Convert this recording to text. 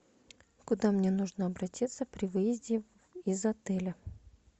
куда мне нужно обратиться при выезде из отеля